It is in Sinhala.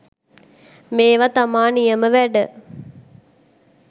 මේවා තමා නියම වැඩ